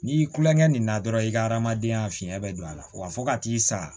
N'i kulonkɛ nin na dɔrɔn i ka adamadenya fiɲɛn bɛ don a la wa fo ka t'i sa